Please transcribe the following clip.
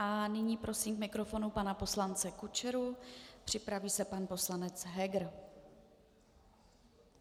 A nyní prosím k mikrofonu pana poslance Kučeru, připraví se pan poslanec Heger.